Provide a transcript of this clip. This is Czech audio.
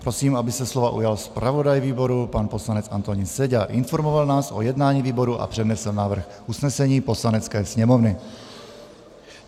Prosím, aby se slova ujal zpravodaj výboru pan poslanec Antonín Seďa a informoval nás o jednání výboru a přednesl návrh usnesení Poslanecké sněmovny.